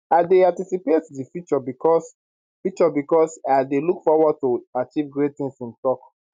i dey anticipate di future becos future becos i dey look forward to achieve great tins im tok